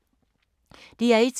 DR1